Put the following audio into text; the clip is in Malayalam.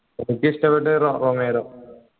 എനിക്കിഷ്ടപ്പെട്ട റൊമേറോ